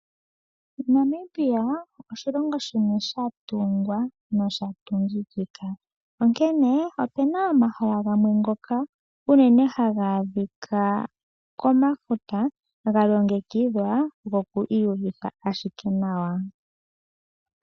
Namibia oshilongo shimwe sha tungwa nosha tungikika, onkene opena omahala gamwe ngoka unene haga adhika komafuta, ga longekidhwa goku iyuvitha ashike nawa.